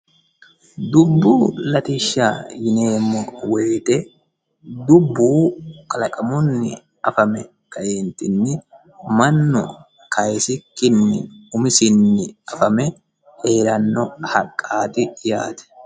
dubbu latishsha yineemmo wote dubbu kalaqamunni afame kaeentinni mannu kaasikkinni umisinni afame heeranno haqqaati yaate.